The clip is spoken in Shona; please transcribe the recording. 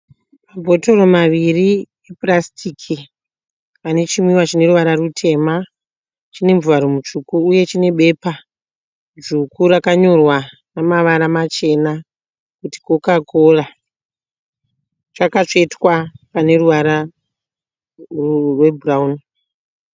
Mabhotoro maviri epurasitiki ane chinwiwa chineruvara rutema. Chine muvharo mutsvuku uye chine bepa dzvuku rakanyorwa nemavara machena kuti Coca Cola. Chakatsvetwa pane ruvara rwebhurawuni